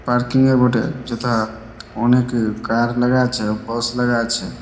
Parking -এ বটে। যেটা অনেকে কার লাগায়ছে বক্স লাগায়ছে।